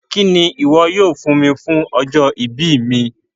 Kíni iwọ̀ yóò fún mí fún ọjọ́-ìbí mí?